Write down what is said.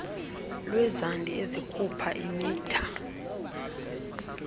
lwezandi ezikhupha imitha